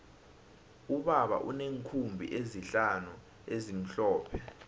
ubaba uneenkhumbi ezihlanu ezimhlophe